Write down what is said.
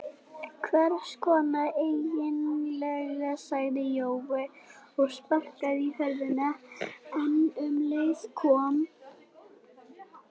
Hvess konar eiginlega sagði Jói og sparkaði í hurðina en um leið kom